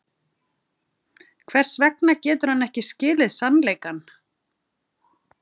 Hvers vegna getur hann ekki skilið sannleikann?